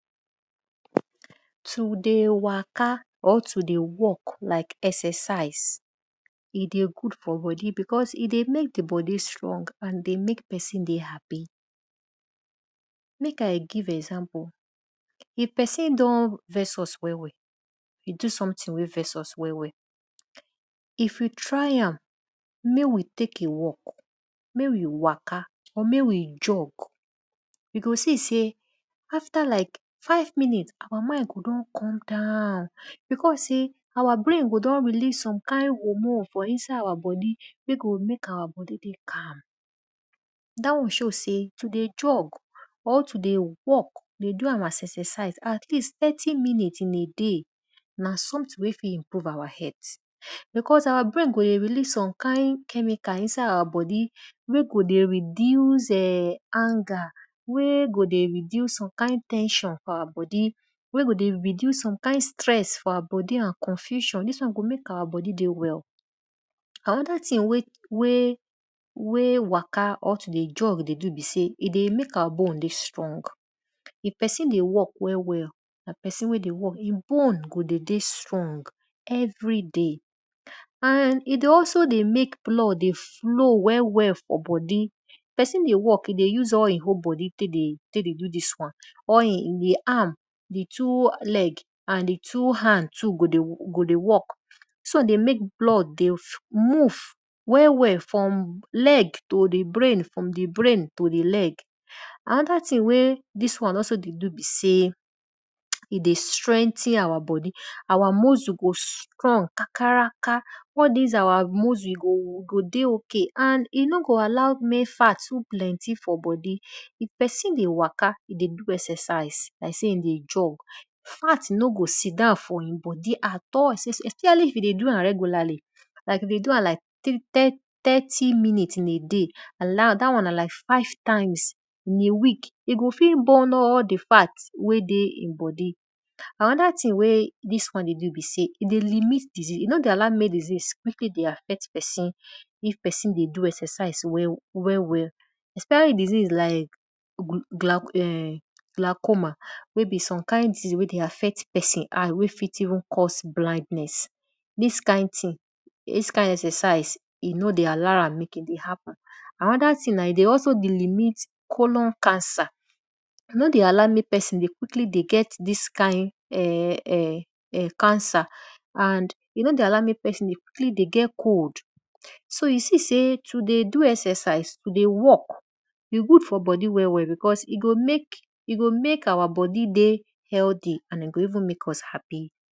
To dey waka or to dey work e dey good for bodi because e dey mek di bodi dey strong and dey mek pesin dey happy. Mek I gie example, if pesin don vex us well well, e do something wey vex us well well, if you try am mek we tek a wlk mek we waka or mek we jog you go see sey afta like five minutes our mind go don come down because sey our brain go don release some kind hormone for inside our bodi mek we mek ourt bodi dey calm. Dat won shgow sey to dey jog or to dey walk dey do our exercise at least thirty minutes in a day na something wey fit improvbe our health. Because our brain go dey release some kind chemical inside our bodi wey go dey reduce[um]anger, wey go dey reduce some kind ten sion for our bodi, wey go dey reduce some kind stress for our bodi and confussion dis won go mek our bodi dey well. Anoda thing wey waka or to dey jog dey do be sey e deymek our bone dey strong. If pesin d ey work well well, e bone go dey dey strong everyday and e dey also dey mek blood dey flow well well for bodi. Pesin dey walk e dey use all e whole bodi tek de do all dis won, all e two leg and hand go dey work. Dis won dey mek blood dey move well well from leg to di brain from di brain to di leg. Anoda thing wey di won dey do be sey e dey strengthen our bodi, oue muscle go strong kakaraka all dis our muscle go dey ok and e no go allow mek fat too plenty for bodi, if pesin dey waka dey do exercise, fat e no go sit down for e bodi at all especially if e dey do am regularly if e dey do am like thirty minute in a day and dat won like five times in a week, e go fit burn all di fat wey dey e bodi. Anoda thing wey dis one dey do be sey e dey limit disease, e nor dey allow mek disease quickly dey affect pesin if pesin dey do exercise well well especially disease like glychoma wey be some kind disease wey dey affect pesin wey fit even cause blindness, dis kind exercise e no dey allow am mek e happen. Anoda thing na e dey also dey limit colum, cancer. E no dey allow mek pesin dey quickly dey get dis kind cancer and e no dey allow mek pesin dey quickly dey get cold. So you see sey to dey do all dis exercise to dey work e good for bodi well well because e go mek our bodi dey healthy and e go even mek us happy.